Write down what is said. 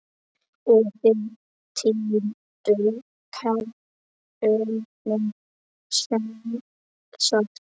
Og þið týnduð kerrunni sem sagt.